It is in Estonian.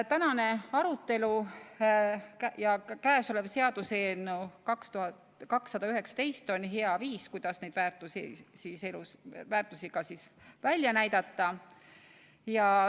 Tänane arutelu ja ka käesolev seaduseelnõu 219 on hea viis, kuidas neid väärtushinnanguid ka välja näidata.